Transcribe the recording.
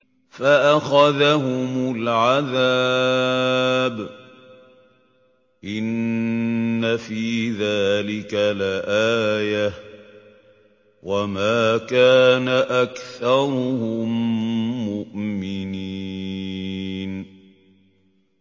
فَأَخَذَهُمُ الْعَذَابُ ۗ إِنَّ فِي ذَٰلِكَ لَآيَةً ۖ وَمَا كَانَ أَكْثَرُهُم مُّؤْمِنِينَ